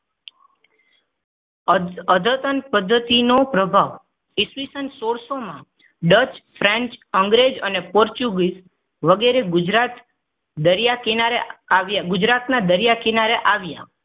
અધ અધતન પદ્ધતિનો પ્રભાવ ઈસવીસન સોળસો ડજ french અંગ્રેજ ને portugiz વગેરે માં ગુજરાત દરિયાકિનારે આવે વગેરે ગુજરાતના દરિયા કિનારે આવ્યા.